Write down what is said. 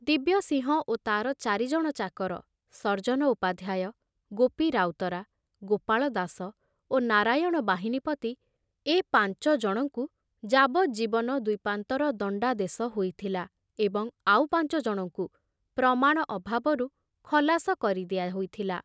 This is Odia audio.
ଦିବ୍ୟସିଂହ ଓ ତାର ଚାରିଜଣ ଚାକର ସର୍ଜନ ଉପାଧ୍ୟାୟ, ଗୋପି ରାଉତରା, ଗୋପାଳ ଦାସ ଓ ନାରାୟଣ ବାହିନୀପତି ଏ ପାଞ୍ଚଜଣଙ୍କୁ ଯାବଜୀବନ ଦ୍ବୀପାନ୍ତର ଦଣ୍ଡାଦେଶ ହୋଇଥିଲା ଏବଂ ଆଉ ପାଞ୍ଚଜଣଙ୍କୁ ପ୍ରମାଣ ଅଭାବରୁ ଖଲାସ କରି ଦିଆ ହୋଇଥିଲା।